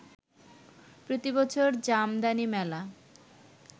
প্রতি বছর জামদানি মেলা